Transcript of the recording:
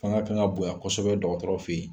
Fanga kan ka bonya kosɛbɛ dɔgɔtɔrɔ fɛ yen